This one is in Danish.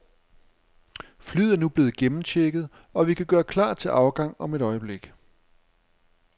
Flyet er nu blevet gennemchecket, og vi kan gøre klar til afgang om et øjeblik.